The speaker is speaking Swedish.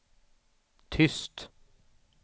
tyst